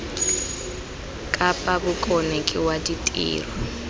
kapa bokone ke wa ditiro